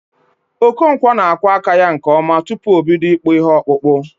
Okonkwọ n'akwọ aka ya nke ọma tupu o bido ịkpụ ihe okpụkpụ